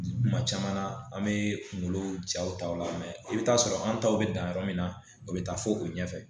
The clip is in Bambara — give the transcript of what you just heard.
Kuma caman na an be kunkolo jaw ta o la i bi taa sɔrɔ an taw be dan yɔrɔ min na o be taa fo u ɲɛfɛ